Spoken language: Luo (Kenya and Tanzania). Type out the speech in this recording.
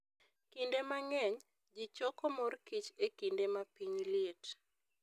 Kinde mang'eny, ji choko mor kich e kinde ma piny liet.